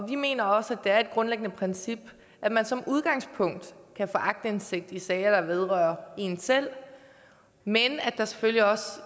vi mener også at det er et grundlæggende princip at man som udgangspunkt kan få aktindsigt i sager der vedrører en selv men at der selvfølgelig også